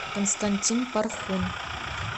константин пархум